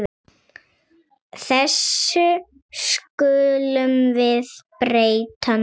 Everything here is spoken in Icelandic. Þessu skulum við breyta núna.